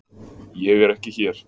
Ég er ekki hér.